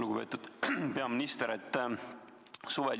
Lugupeetud peaminister!